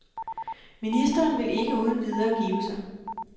Ministeren vil ikke uden videre give sig.